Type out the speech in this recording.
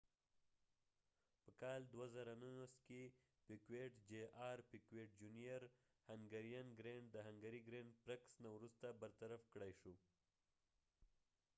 پیکويت جونیر piquet jr په کال 2009 کې د هنګری د ګریند پرکسhungarian grand prix نه وروسته برطرف کړای شو